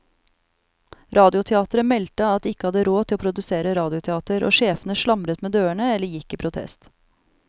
Radioteateret meldte at de ikke hadde råd til å produsere radioteater, og sjefene slamret med dørene eller gikk i protest.